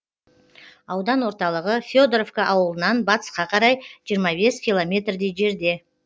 аудан орталығы федоровка ауылынан батысқа қарай жиырма бес километрдей жерде